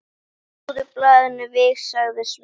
Margrét er eftir ein.